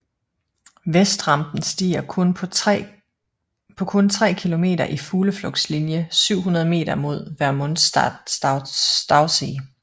Vestrampen stiger på kun tre km i fugleflugtslinje 700 meter mod Vermuntstausee